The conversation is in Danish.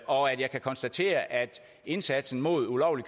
og at jeg kan konstatere at indsatsen mod ulovlig